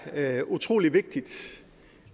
er utrolig vigtigt